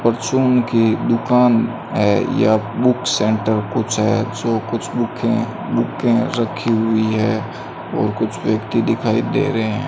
परचून की एक दुकान है या बुक सेंटर कुछ है जो कुछ बुक है बुके रखी हुई है और कुछ व्यक्ति दिखाई दे रहे है।